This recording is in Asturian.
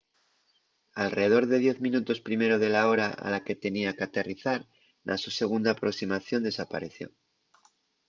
alredor de diez minutos primero de la hora a la que tenía qu’aterrizar na so segunda aproximación desapaeció